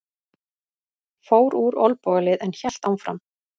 Fór úr olnbogalið en hélt áfram